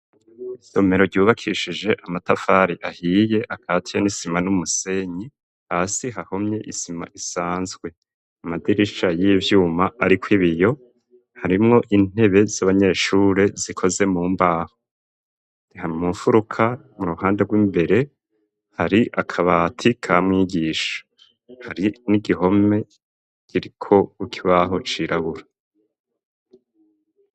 Isomero ryubakishije amatafari ahiye akatiye n'isima n'umusenyi, hasi hahomye isima isanzwe amadirisha y'ivyuma ari ko ibiyo harimwo intebe z'abanyeshure zikoze mu mbaho, ha mufuruka mu ruhande rw'imbere hari akabati ka mwigisha hari n'igihome giriko ukibaho cirabura.